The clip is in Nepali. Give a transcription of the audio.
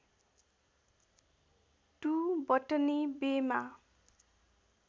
टु बटनी बेमा